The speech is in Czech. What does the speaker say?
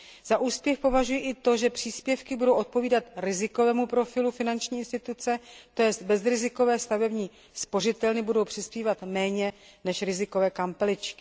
Za úspěch považuji i to, že příspěvky budou odpovídat rizikovému profilu finanční instituce, to jest bezrizikové stavební spořitelny budou přispívat méně než rizikové kampeličky.